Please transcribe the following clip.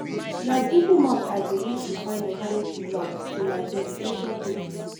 na google maps i dey use to find alternative routes to my destination quickly.